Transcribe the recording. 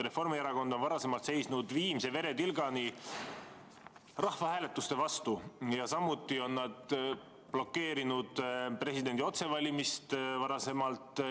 Reformierakond on varem seisnud viimse veretilgani rahvahääletuste vastu ja samuti on nad blokeerinud presidendi otsevalimist.